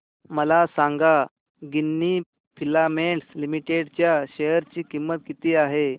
मला सांगा Ginni filaments limited च्या शेअर ची किंमत किती आहे